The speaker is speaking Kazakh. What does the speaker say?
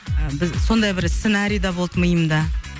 і біз сондай бір сценарий да болды миымда